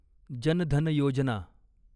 जन धन योजना